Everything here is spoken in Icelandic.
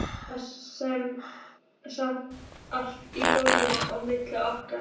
Það er samt allt í góðu á milli okkar.